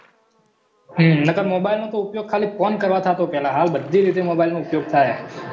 હમ નકર mobile નું તો ઉપયોગ ખાલી ફોન કરવા થતો પહેલા હાલબધી રીતે mobile નો ઉપયોગ થાય હે